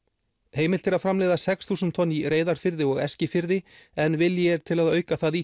heimilt er að framleiða sex þúsund tonn í Reyðarfirði og Eskifirði en vilji er til að auka það í